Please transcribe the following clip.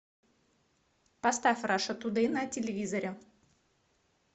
поставь раша тудэй на телевизоре